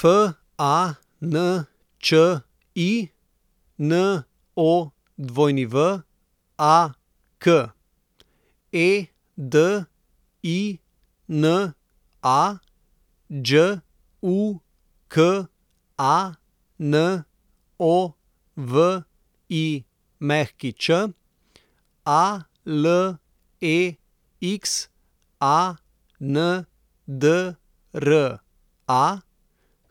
Fanči Nowak, Edina Đukanović, Alexandra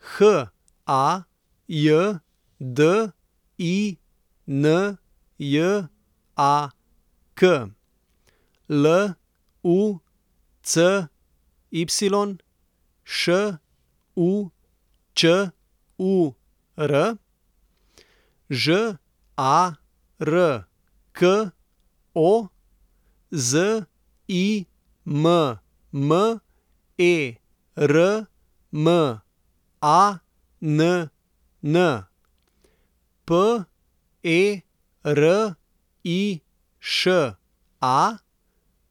Hajdinjak, Lucy Šučur, Žarko Zimmermann, Periša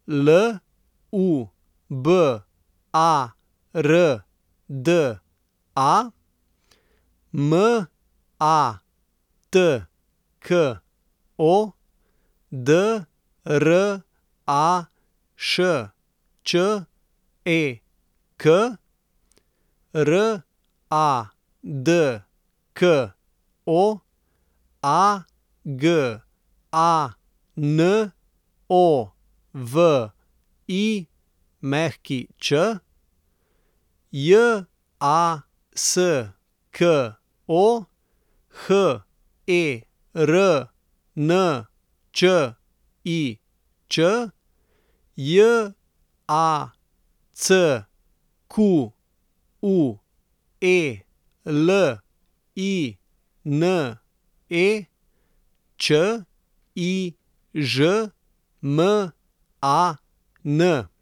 Lubarda, Matko Drašček, Radko Aganović, Jasko Hernčič, Jacqueline Čižman.